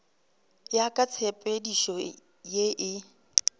ya ka tshepedišo ye e